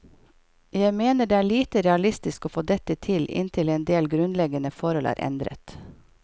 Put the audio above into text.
Jeg mener det er lite realistisk å få dette til inntil endel grunnleggende forhold er endret.